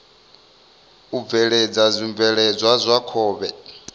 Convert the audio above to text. u bveledza zwibveledzwa zwa khovhe